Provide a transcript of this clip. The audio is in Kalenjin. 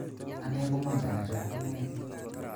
Anee komongen achop kong'aek